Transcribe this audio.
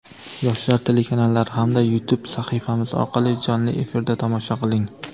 "Yoshlar" telekanallari hamda YouTube sahifamiz orqali jonli efirda tomosha qiling!.